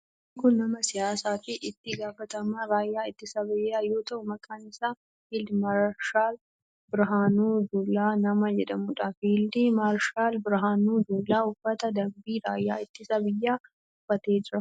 Namni kun nama siyaasaa fi itti gaafatamaa raayyaa ittisa biyyaa yoo ta'u maqaan isaa Fiild maarshaal Birahaanuu Juulaa nama jedhamudha. Fiild maarshaal Birahaanuu Juulaa uffata dambii raayyaa ittisa biyyaa uffatee jira.